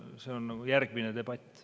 See on järgmine debatt.